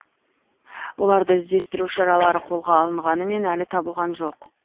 оларды іздестіру шаралары қолға алынғанымен әлі табылған жоқ